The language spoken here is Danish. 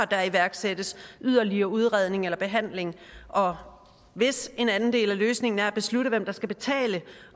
der iværksættes yderligere udredning eller behandling og hvis en anden del af løsningen er at beslutte hvem der skal betale